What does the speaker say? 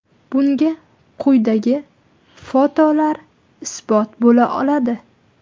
Bunga quyidagi fotolar isbot bo‘la oladi.